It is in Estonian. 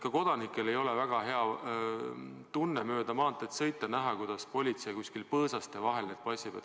Ka kodanikel ei ole väga hea tunne mööda maanteed sõita ja näha, kuidas politsei kuskil põõsaste vahelt neid passib.